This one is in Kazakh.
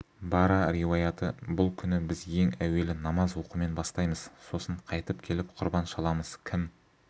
бара риуаяты бұл күні біз ең әуелі намаз оқумен бастаймыз сосын қайтып келіп құрбан шаламыз кім